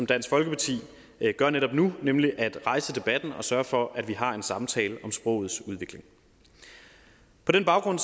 dansk folkeparti gør netop nu nemlig at rejse debatten og sørge for at vi har en samtale om sprogets udvikling på den baggrund